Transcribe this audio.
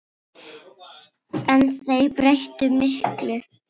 En þeir breyttu miklu.